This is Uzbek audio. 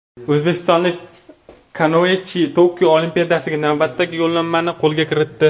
O‘zbekistonlik kanoechilar Tokio Olimpiadasiga navbatdagi yo‘llanmani qo‘lga kiritdi.